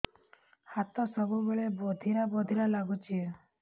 ହାତ ସବୁବେଳେ ବଧିରା ବଧିରା ଲାଗୁଚି